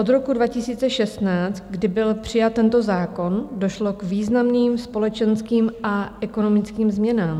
Od roku 2016, kdy byl přijat tento zákon, došlo k významným společenským a ekonomickým změnám.